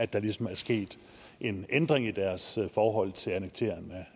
der ligesom er sket en ændring i deres forhold til annekteringen